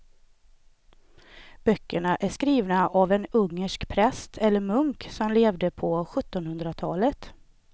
Böckerna är skrivna av en ungersk präst eller munk som levde på sjuttonhundratalet.